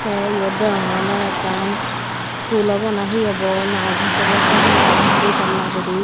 tey iyot degongey ole ekkan school obo na he obo na office obo hobor nw pang di tala guri.